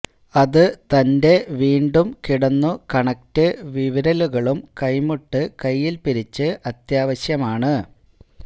അതു തന്റെ വീണ്ടും കിടന്നു കണക്ട് വിരലുകളും കൈമുട്ട് കയ്യിൽ പിരിച്ചു അത്യാവശ്യമാണ്